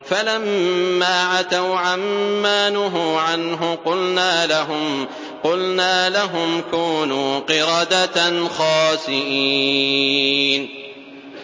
فَلَمَّا عَتَوْا عَن مَّا نُهُوا عَنْهُ قُلْنَا لَهُمْ كُونُوا قِرَدَةً خَاسِئِينَ